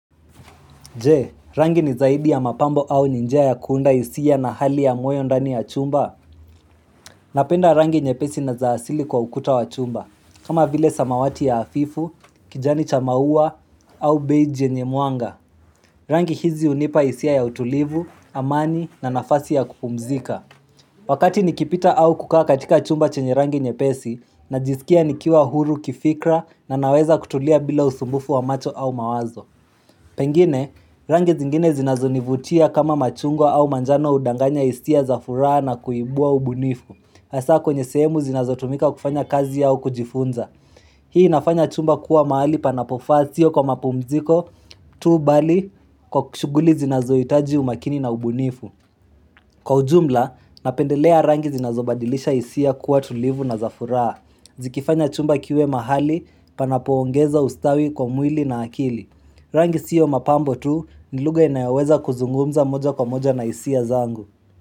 Je, rangi ni zaidi ya mapambo au ni njia ya kuunda hisia na hali ya moyo ndani ya chumba? Napenda rangi nyepesi na za asili kwa ukuta wa chumba, kama vile samawati ya hafifu, kijani cha maua au beije yenye mwanga. Rangi hizi hunipa hisia ya utulivu, amani na nafasi ya kupumzika. Wakati nikipita au kukaa katika chumba chenye rangi nyepesi, najisikia nikiwa huru kifikra na naweza kutulia bila usumbufu wa macho au mawazo. Pengine, rangi zingine zinazonivutia kama machungwa au manjano hudanganya hisia za furaha na kuibua ubunifu. Hasaa kwenye sehemu zinazotumika kufanya kazi yao kujifunza Hii inafanya chumba kuwa mahali panapofaa sio kwa mapumziko tu bali kwa kushughuli zinazohitaji umakini na ubunifu. Kwa ujumla, napendelea rangi zinazobadilisha hisia kuwa tulivu na za furaha. Zikifanya chumba kiwe mahali panapoongeza ustawi kwa mwili na akili Rangi siyo mapambo tu ni lugha inayoweza kuzungumza moja kwa moja na hisia zangu.